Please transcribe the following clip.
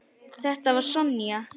Þetta var Sonja.